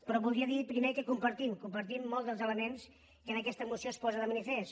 però voldria dir primer que compartim molts dels elements que en aquesta moció es posen de manifest